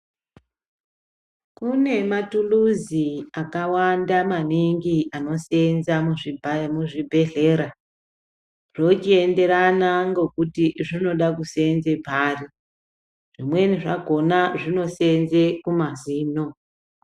Kunemathuluzi akawanda maningi anosenza muzvibhedhlera, zvochiyenderana ngokuti zvinoda kusenze pari. Zvimweni zvakhona zvinosenze kumazino.